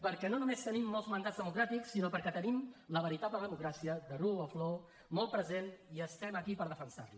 perquè no només tenim molts mandats democràtics sinó perquè tenim la veritable democràcia the rule of law molt present i estem aquí per defensar la